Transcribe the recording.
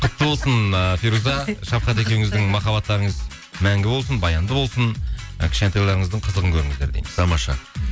құтты болсын ыыы фируза шафхат екеуіңіздің махабаттарыңыз мәңгі болсын баянды болсын і кішкентайларыңыздың қызығын көріңіздер дейміз тамаша